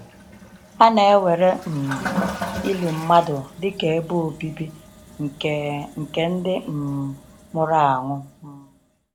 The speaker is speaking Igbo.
Ha na-ewere um ili mmadụ dịka ebe obibi nke nke ndị um nwụrụ anwụ. um